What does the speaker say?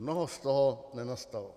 Mnoho z toho nenastalo.